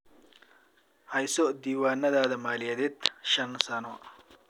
Hayso diiwaannada maaliyadeed shan sano.